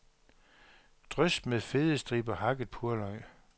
Drys med fede striber hakket purløg.